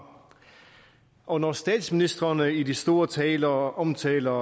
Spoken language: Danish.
og når statsministrene i de store taler omtaler